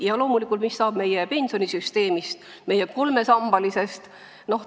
Ja loomulikult, mis saab meie pensionisüsteemist, meie kolmesambalisest?